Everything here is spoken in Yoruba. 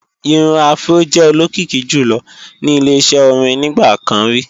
Irun afró jẹ́ olókìkí jùlọ ní ile-iṣẹ́ orin nígbà kan rí